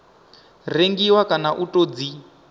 rengiwa kana u tou dzi